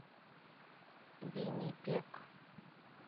виннипег